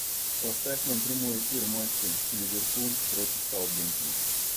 поставь нам прямой эфир матча ливерпуль против саутгемптона